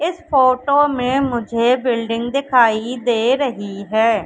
इस फोटो में मुझे बिल्डिंग दिखाई दे रही है।